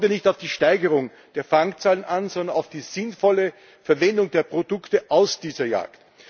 Doch es kommt nicht auf die Steigerung der Fangzahlen an, sondern auf die sinnvolle Verwendung der Produkte aus dieser Jagd.